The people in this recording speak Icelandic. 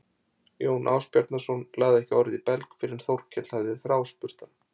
Jón Ásbjarnarson lagði ekki orð í belg fyrr en Þórkell hafði þráspurt hann.